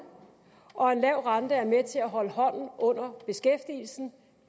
og en lav rente er med til at holde hånden under beskæftigelsen